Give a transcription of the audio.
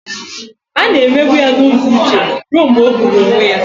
A na-emegbu ya n'ụzọ uche ruo mgbe ọ gburu onwe ya